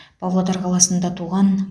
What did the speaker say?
павлодар қаласында туған